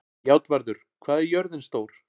Játvarður, hvað er jörðin stór?